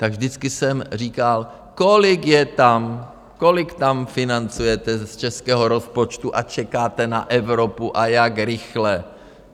Tak vždycky jsem říkal, kolik je tam, kolik tam financujete z českého rozpočtu a čekáte na Evropu a jak rychle?